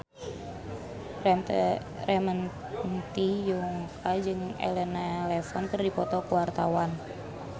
Ramon T. Yungka jeung Elena Levon keur dipoto ku wartawan